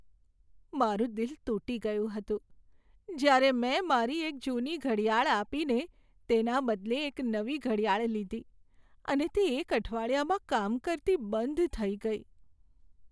મારું દિલ તૂટી ગયું હતું જ્યારે મેં મારી એક જૂની ઘડિયાળ આપીને તેના બદલે એક નવી ઘડિયાળ લીધી અને તે એક અઠવાડિયામાં કામ કરતી બંધ થઈ ગઈ.